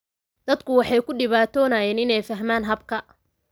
Dadku waxay ku dhibtoonayeen inay fahmaan habka.